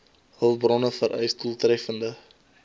hulpbronne vereis doeltreffende